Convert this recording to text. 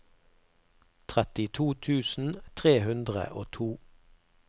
trettito tusen tre hundre og to